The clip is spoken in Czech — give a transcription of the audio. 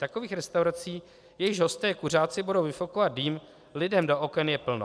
Takových restaurací, jejichž hosté kuřáci budou vyfukovat dým lidem do oken, je plno.